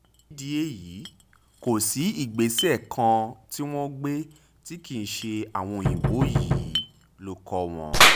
nídìí èyí kò sí ìgbésẹ̀ kan tí wọ́n gbé tí kì í ṣe àwọn òyìnbó yìí ló kọ wọ́n